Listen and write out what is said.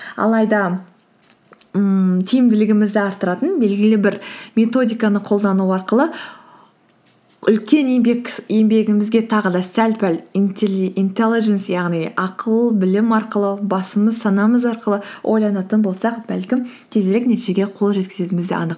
алайда ммм тиімділігімізді арттыратын белгілі бір методиканы қолдану арқылы үлкен еңбегімізге тағы да сәл пәл интелледженс яғни ақыл білім арқылы басымыз санамыз арқылы ойланатын болсақ бәлкім тезірек нәтижеге қол жеткізетіміз де анық